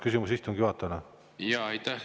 Küsimus istungi juhatajale.